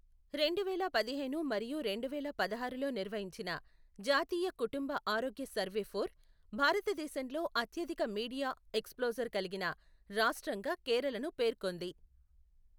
రెండువేల పదిహేను మరియు రెండువేల పదహారులో నిర్వహించిన జాతీయ కుటుంబ ఆరోగ్య సర్వే ఫోర్ , భారతదేశంలో అత్యధిక మీడియా ఎక్స్ప్లోజర్ కలిగిన రాష్ట్రంగా కేరళను పేర్కొంది.